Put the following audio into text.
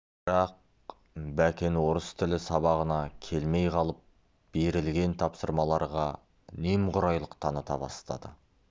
бірақ бәкен орыс тілі сабағына келмей қалып берілген тапсырмаларға немқұрайлық таныта бастады